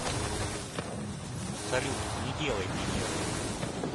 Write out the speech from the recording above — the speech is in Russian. салют не делай мне нервы